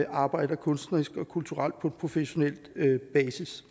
arbejder kunstnerisk og kulturelt på professionel basis